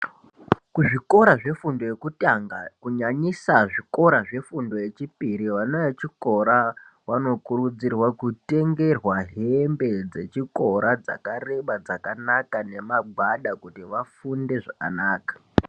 Kuzvikora zvefundo yekutanga kunyanyisa zvikora zvefundo yechipiri, vana vechikora vanokurudzirwa kutengerwa hembe dzechikora dzakareba dzakanaka nemagwada kuti vafunde zvakanaka.